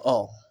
Ɔ